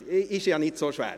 Herzlichen Dank.